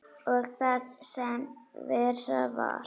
Og það sem verra var.